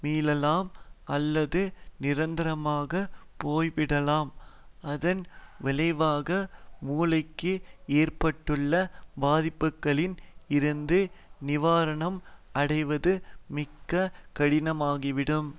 மீளலாம் அல்லது நிரந்தரமாகப் போய்விடலாம் அதன் விளைவாக மூளைக்கு ஏற்பட்டுள்ள பாதிப்புக்களில் இருந்து நிவாரணம் அடைவது மிக கடினமாகிவிடும்